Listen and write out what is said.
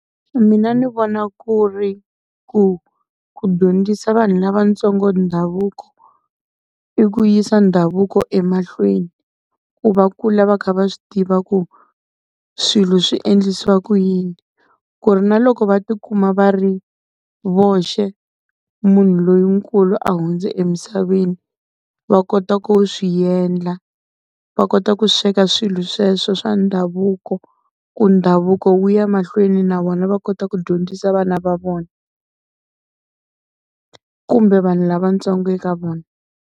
Mina ni vona ku ri ku ku dyondzisa vanhu lavatsongo ndhavuko i ku yisa ndhavuko emahlweni, ku va kula va kha va swi tiva ku swilo swi endlisiwa ku yini. Ku ri na loko va tikuma va ri voxe munhu lonkulu a hundze emisaveni va kota ku swi endla. Va kota ku sweka swilo sweswo swa ndhavuko ku ndhavuko wu ya mahlweni na vona va kota ku dyondzisa vana va vona, kumbe vanhu lavntsongo eka vona.